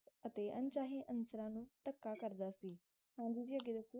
ਅਤੇ ਅਣਚਾਹੇ ਅਨਸਰਾਂ ਨੂੰ ਧੱਕਾ ਕਰਦਾ ਸੀ ਹਾਂਜੀ ਜੀ ਅੱਗੇ ਦੱਸੋ